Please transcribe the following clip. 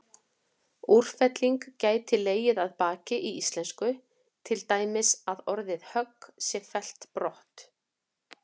Úrfelling gæti legið að baki í íslensku, til dæmis að orðið högg sé fellt brott.